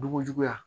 Dugu juguya